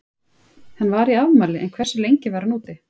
Hann var í afmæli en hversu lengi var hann úti?